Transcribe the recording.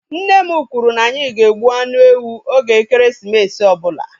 Nne m kwụrụ na anyị ga-egbu anụ ewu oge ekeresimesi ọbụla